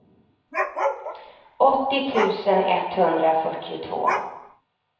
åttio tusen etthundrafyrtiotvå